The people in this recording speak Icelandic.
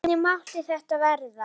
Hvernig mátti þetta verða?